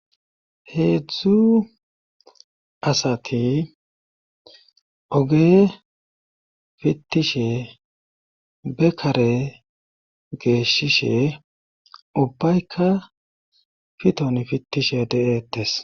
heedzdzu asati oge fittishe bekare geeshishe ubbaykka fiton fittishe de7eettes